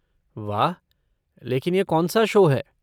वाह! लेकिन यह कौन सा शो है?